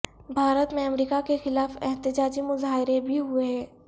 بھارت میں امریکہ کے خلاف احتجاجی مظاہرے بھی ہوئے ہیں